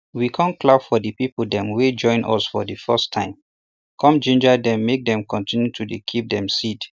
we com clap for de people dem wey join us for de first time com ginger dem make dey continue to dey keep dem seed